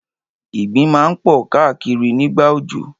Ìgbín máa ń pọ̀ káà kiri nígbà òjò.